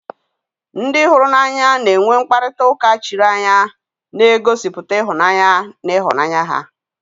Ndị hụrụ n'anya na-enwe mkparịta ụka chiri anya na-egosipụta ịhụnanya na ịhụnanya ha